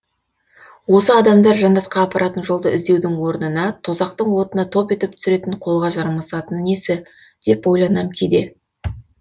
осы адамдар жәннатқа апаратын жолды іздеудің орнына тозақтың отына топ етіп түсіретін қолға жармасатыны несі деп ойланам кейде